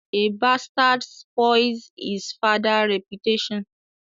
A bastard spoils his family reputation.